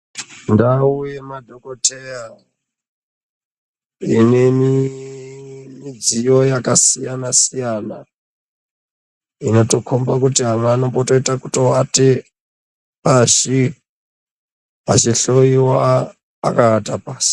Ndau yemadhokoteya inemidziyo yakasiyana siyana yatokhomba kuti ava vanombotoita yekutovate pashi vachihloyiwa akavata pasi.